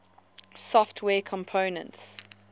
software components